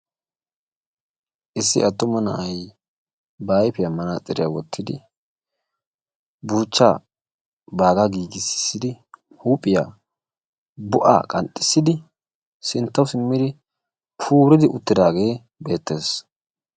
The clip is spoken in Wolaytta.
Issi attuma na'ay ba ayfiyan manaaxiriya wottidi buuchaa baaga giigisisidi huuphphiya bo'aa qanxissidi sintawu simmidi puuridi uttidaagee beetes.